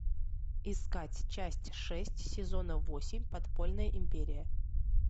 искать часть шесть сезона восемь подпольная империя